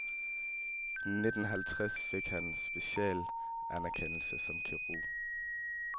I nitten halvtreds fik han specialistanerkendelse som kirurg.